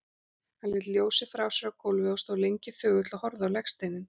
Hann lét ljósið frá sér á gólfið og stóð lengi þögull og horfði á legsteininn.